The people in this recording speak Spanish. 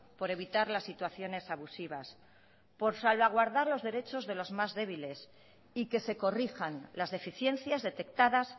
por evitar las situaciones abusivas por salvaguardar los derechos de los más débiles y que se corrijan las deficiencias detectadas